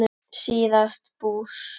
síðast bús.